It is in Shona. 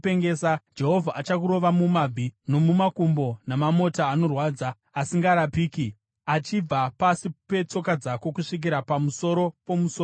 Jehovha achakurova mumabvi nomumakumbo namamota anorwadza asingarapiki, achibva pasi petsoka dzako kusvikira pamusoro pomusoro wako.